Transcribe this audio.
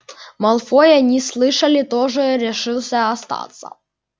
малфой они слышали тоже решил остаться